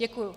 Děkuji.